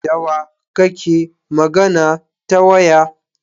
Dawa kake magana ta waya?